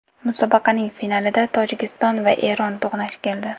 Musobaqaning finalida Tojikiston va Eron to‘qnash keldi.